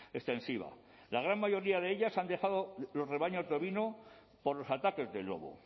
extensiva la gran mayoría de ellas ha dejado los rebaños de ovino por los ataques del lobo